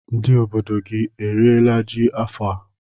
Ndị obodo gị eriela ji n'afọ a?